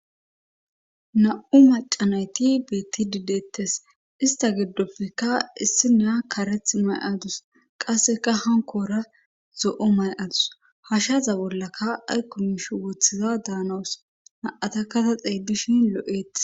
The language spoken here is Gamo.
na7u macanayti beetti didettes ista giddopfeka issi naa kareth may7adus qasseka hankora zo7o may7adus hashaza bollaka aykkumish woththiza daanawus na7ata kata xeeydishin lo7ettes